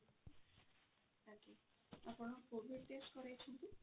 ଆପଣ covid test କରେଇଛନ୍ତି?